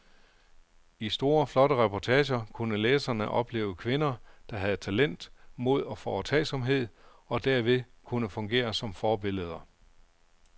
I store flotte reportager kunne læserne opleve kvinder, der havde talent, mod og foretagsomhed, og derved kunne fungere som forbilleder.